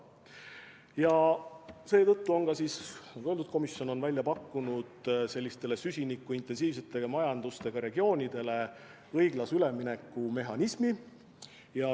Ja seetõttu on, nagu öeldud, komisjon välja pakkunud sellistele süsinikuintensiivsete majandustega regioonidele õiglase ülemineku mehhanismi.